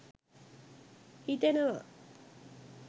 හිතෙනවා